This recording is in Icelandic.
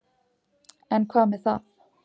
En hvað með það.